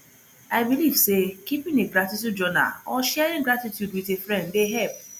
i believe say keeping a gratitude journal or sharing gratitude with a friend dey help